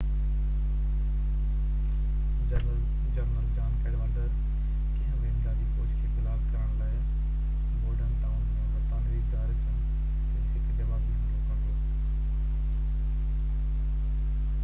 general John Cadwalader ڪنهن به امدادي فوج کي بلاڪ ڪرڻ لاءِ بورڊن ٽائون ۾ برطانوي گاريسن تي هڪ جوابي حملو ڪندو